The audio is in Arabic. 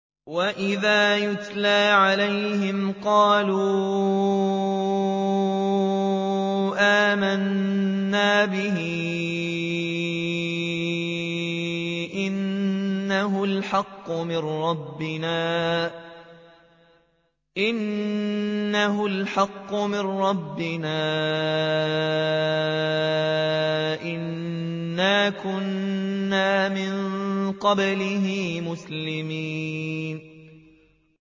وَإِذَا يُتْلَىٰ عَلَيْهِمْ قَالُوا آمَنَّا بِهِ إِنَّهُ الْحَقُّ مِن رَّبِّنَا إِنَّا كُنَّا مِن قَبْلِهِ مُسْلِمِينَ